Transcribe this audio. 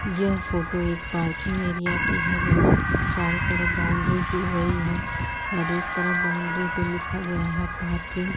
यह फोटो एक parking area की है जहां चारो तरफ बाउंड्री की है और एक तरफ बाउंड्री पे लिखा गया है पार्किंग ।